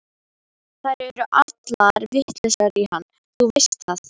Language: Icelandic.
Þær eru allar vitlausar í hann, þú veist það.